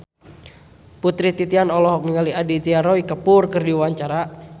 Putri Titian olohok ningali Aditya Roy Kapoor keur diwawancara